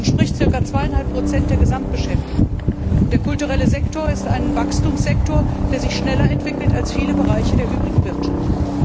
Das entspricht circa 2,5 der Gesamtbeschäftigung. Der kulturelle Sektor ist ein Wachstumssektor, der sich schneller entwickelt als viele Bereiche der übrigen Wirtschaft.